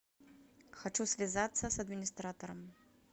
хочу связаться с администратором